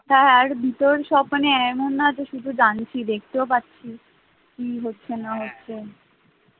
হ্যাঁ হ্যাঁ ভেতর সব মানে এমন না শুধু জানছি দেখতেও পাচ্ছি, কি হচ্ছে না হচ্ছে,